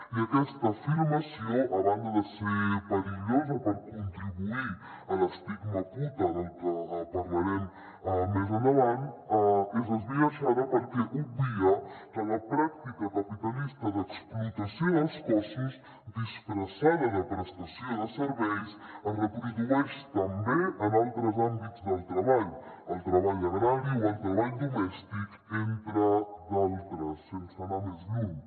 i aquesta afirmació a banda de ser perillosa perquè contribueix a l’estigma puta del que parlarem més endavant és esbiaixada perquè obvia que la pràctica capitalista d’explotació dels cossos disfressada de prestació de serveis es reprodueix també en altres àmbits del treball el treball agrari o el treball domèstic entre d’altres sense anar més lluny